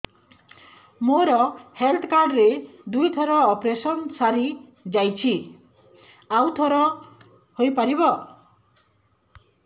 ମୋର health card ରେ ଦୁଇ ଥର ଅପେରସନ ସାରି ଯାଇଛି ଆଉ ଥର ହେଇପାରିବ